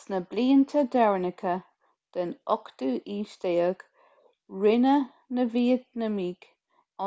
sna blianta deireanacha den 18ú haois rinne na vítneamaigh